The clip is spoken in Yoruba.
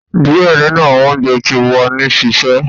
Diẹ ninu awọn ounjẹ ti wa ni sise